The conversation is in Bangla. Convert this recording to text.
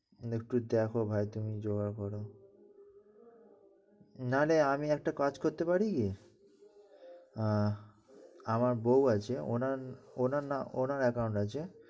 একটু দেখো ভাই তুমি যেভাবে পারো। নাহলে আমি একটা কাজ করতে পারি, আহ আমার বউ আছে, ওনার না ওনার account আছে।